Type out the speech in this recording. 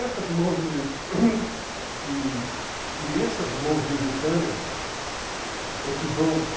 Essas mãos e e essas mãos lusitanas é que vão